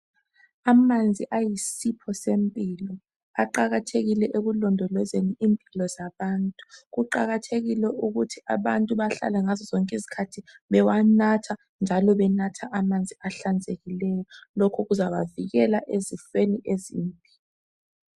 Amanzi ayisipho sempilo. Aqakathekile ekulondolozeni impilo zabantu. Kuqakathekile ukuthi abantu bahlale ngazozonke izikhathi bewanatha njalo benatha amanzi ahlanzekileyo, lokhu kuzabavikela ezifweni ezimbi.